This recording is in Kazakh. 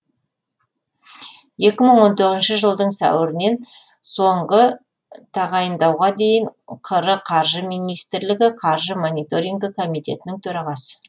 екі мың он тоғызыншы жылдың сәуірінен соңғы тағайындауға дейін қр қаржы министрлігі қаржы мониторингі комитетінің төрағасы